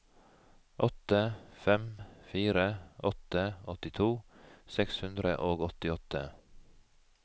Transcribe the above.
åtte fem fire åtte åttito seks hundre og åttiåtte